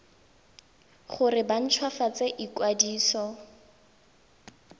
gore ba nt hwafatse ikwadiso